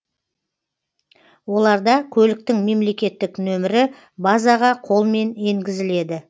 оларда көліктің мемлекеттік нөмірі базаға қолмен енгізіледі